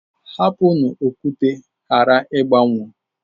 Hapụnụ okwute ghara ịgbanwuo.